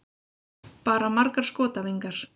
Bara margar skotæfingar.